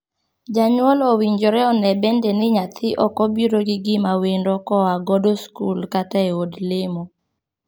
Janyuol owinjore onee bende ni nyathi ok obiro gi gima wendo koa godo skul kata e od lemo.